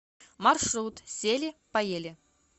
маршрут сели поели